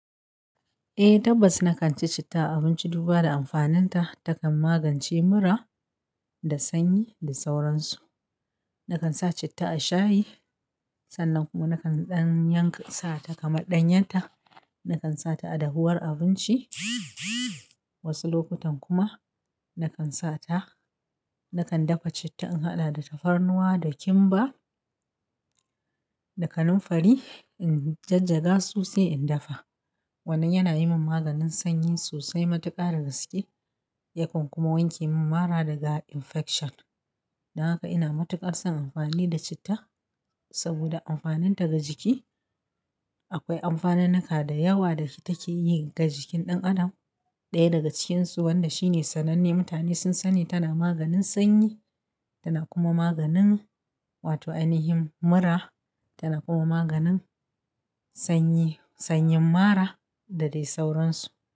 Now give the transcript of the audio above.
Eh tabbas nakan ci citta abunci duba da amfanin ta takan magance mura. Da sanyi da sauransu. Nakan sa citta a shayi sannan kuma nakan ɗanyankata na sata kamar ɗanyanta. Nakan sata a dahuwar abinci. Wasu lokutan kuma nakan sata nakan dafa citta in haɗa da tafarnuwa da kimba. Da kaninfari in jajaga so sai in dafa, wannan yana yi min maganin sanyi sosai matuƙa da gaske, yakan kuma wanke mun mara daga infection. Dan haka ina matuƙar son amfani da citta. Saboda amfaninta ga jiki. Akwai amfanin nika da yawa da take yi ga jikin ɗan adam. Ɗaya daga cikinsu wanda shine sananne mutane sun sani tana maganin sanyi. Tana kuma maganin wato ainihin mura. Tana kuma maganin sanyin mara da dai sauransu.